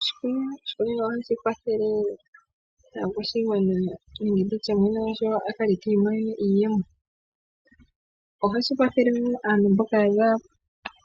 Oshikunino, oshikunino ohashi kwathele aakwashigwana nenge nditye mwene gwasho akale ta imonene iiyemo. Ohashi kwathele wo aantu mboka yaza